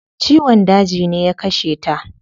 Ciwon daji ne ya kashe ta